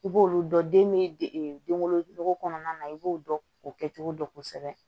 I b'olu dɔn den bɛ denwolo kɔnɔna na i b'o dɔn o kɛcogo dɔn kosɛbɛ